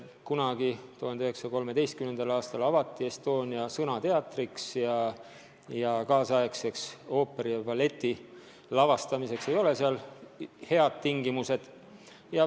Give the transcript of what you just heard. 1913. aastal avati Estonia sõnateatrina ja kaasaegseks ooperite ja ballettide lavastamiseks ei ole seal head tingimused.